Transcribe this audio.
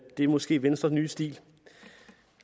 det er måske venstres nye stil